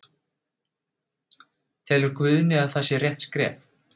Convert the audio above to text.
Telur Guðni að það sé rétt skref?